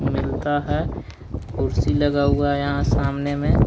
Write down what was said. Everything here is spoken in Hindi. मिलता है कुर्सी लगा हुआ है यहां सामने में।